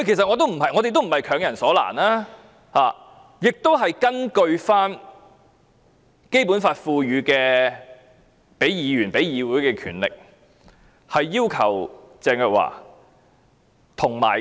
我們也不是強人所難，我們是根據《基本法》賦予議員、議會的權力，傳召鄭若驊。